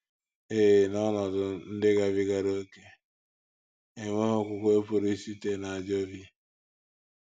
Ee, n’ọnọdụ ndị gabigara ókè, enweghị okwukwe pụrụ isite n’ajọ obi.